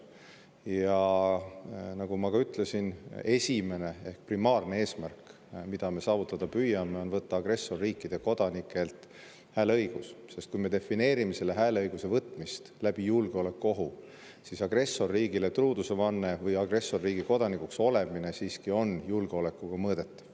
Ja nagu ma ütlesin, esimene ehk primaarne eesmärk, mida me saavutada püüame, on võtta agressorriikide kodanikelt hääleõigus, sest kui me defineerime selle hääleõiguse võtmist julgeolekuohu kaudu, siis agressorriigile truudusevanne või agressorriigi kodanikuks olemine siiski on julgeolekuga mõõdetav.